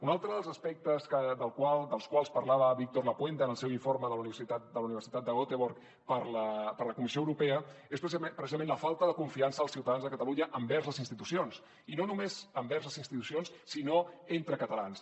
un altre dels aspectes dels quals parlava víctor lapuente en el seu informe de la universitat de göteborg per a la comissió europea és precisament la falta de confiança dels ciutadans de catalunya envers les institucions i no només envers les institucions sinó entre catalans